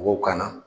Mɔgɔw kanna